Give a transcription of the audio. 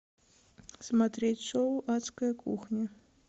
смотреть шоу адская кухня